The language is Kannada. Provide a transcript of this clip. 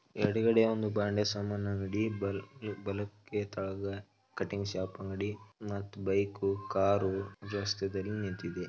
ಯಡಗಡೆ ಅವನು ಭಾಂಡೆ ಸಾಮಾನ್ ಅಂಗಡಿ ಬಲಕ್ಕೆ ಕೆಳಗೆ ಕಟಿಂಗ್ ಶಾಪ್ ಅಂಗಡಿ ಮತ್ತ್ ಬೈಕ್ ಕಾರ್ ರಸ್ತೆದಲ್ಲಿ ನಿಂತಿದೆ.